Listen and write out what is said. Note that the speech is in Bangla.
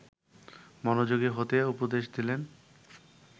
মনোযোগী হতে উপদেশ দিলেন